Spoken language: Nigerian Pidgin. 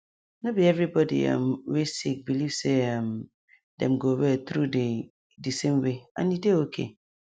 no be every body um wey sick believe say um dem go well through di di same way and e dey okay